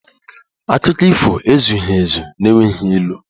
Akụkọ ifo ezughị ezu n'enweghị ilu